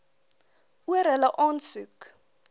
oor hulle aansoek